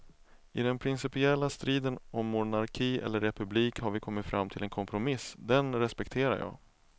I den principiella striden om monarki eller republik har vi kommit fram till en kompromiss, den respekterar jag.